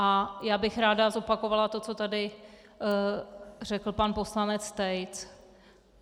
A já bych ráda zopakovala to, co tady řekl pan poslanec Tejc.